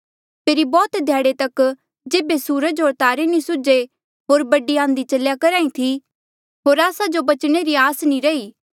फेरी बौह्त ध्याड़े तक जेबे सूरज होर तारे नी सुज्हे होर बड़ी आंधी चल्या करहा ई थी होर आस्सा जो बचणे री आस नी रही